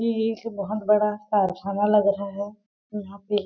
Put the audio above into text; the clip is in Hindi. जी एक बहुत बड़ा कारखाना लग रहा है।